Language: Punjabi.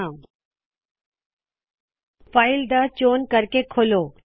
ਪਹਿਲੇ ਫਾਈਲ ਤੇ ਫੇਰ ਓਪਨ ਚੌਨ ਕਰੋ